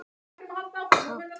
KAFLI EITT Ég var að koma heim.